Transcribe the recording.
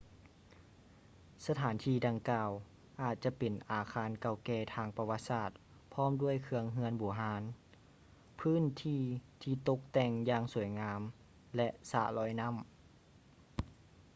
ສະຖານທີ່ດັ່ງກ່າວອາດຈະເປັນອາຄານເກົ່າແກ່ທາງປະຫວັດສາດພ້ອມດ້ວຍເຄື່ອງເຮືອນບູຮານ ພື້ນທີ່ທີ່ຕົກແຕ່ງຢ່າງສວຍງາມ ແລະ ສະລອຍນໍ້າ